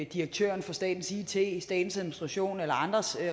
direktøren for statens it statens administration eller andres